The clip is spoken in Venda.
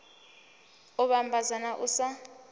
u vhambadza na u sa